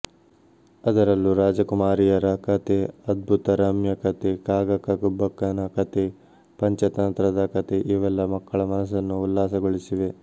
ಅದರಲ್ಲೂ ರಾಜಕುಮಾರಿಯರ ಕಥೆ ಅದ್ಭುತರಮ್ಯ ಕಥೆ ಕಾಗಕ್ಕ ಗುಬ್ಬಕ್ಕನಕಥೆ ಪಂಚತಂತ್ರದ ಕಥೆಇವೆಲ್ಲ ಮಕ್ಕಳ ಮನಸ್ಸನ್ನು ಉಲ್ಲಾಸಗೊಳಿಸಿವೆ